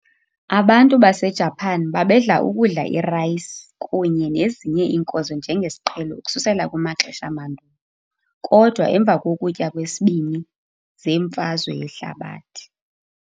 Abantu baseJapan babedla ukudla irayisi kunye nezinye iinkozo njengesiqhelo ukususela kumaxesha amandulo, kodwa emva kokutya kweSibini zeMfazwe yehlabathi.